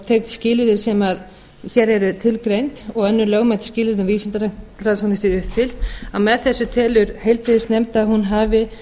þau skilyrði sem hér eru tilgreind og önnur lögmæt skilyrði sem vísindasiðanefnd telur að séu uppfyllt að með þessu telur heilbrigðisnefnd að hún hafi